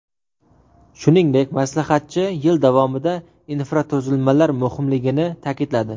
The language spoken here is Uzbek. Shuningdek, maslahatchi yil davomidagi infratuzilmalar muhimligini ta’kidladi.